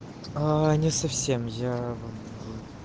аа не совсем я